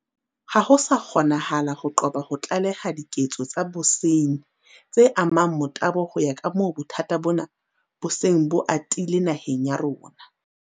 Ha ho sa kgonahala ho qoba ho tlaleha diketso tsa bosenyi tse amang motabo ho ya kamoo bothata bona bo seng bo atile naheng ya rona.